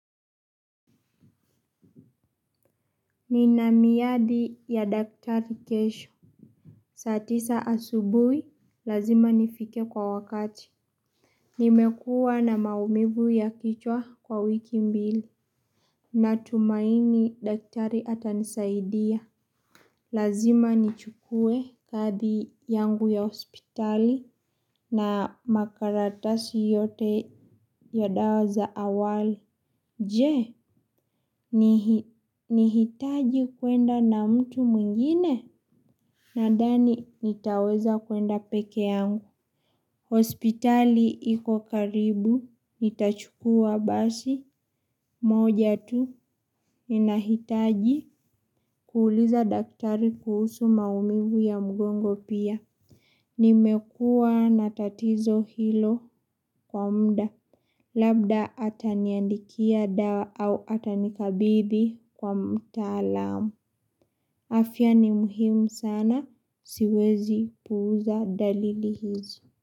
Nina miadi ya daktari kesho. Saa tisa asubui lazima nifike kwa wakati. Nimekuwa na maumivu ya kichwa kwa wiki mbili. Natumaini daktari atanisaidia. Lazima nichukue kadi yangu ya hospitali na makaratasi yote ya dawa za awali. Je nihitaji kuenda na mtu mwngine nadhani nitaweza kuenda peke yangu. Hospitali iko karibu nitachukua basi moja tu ninahitaji kuuliza daktari kuhusu maumivu ya mgongo pia. Nimekua na tatizo hilo kwa muda labda ataniandikia dawa au atanikabidhi kwa mtaalam. Afya ni muhimu sana siwezi puuza dalili hizi.